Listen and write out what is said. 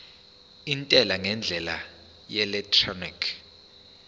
intela ngendlela yeelektroniki